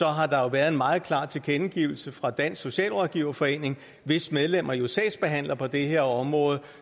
har der været en meget klar tilkendegivelse fra dansk socialrådgiverforening hvis medlemmer jo sagsbehandler på det her område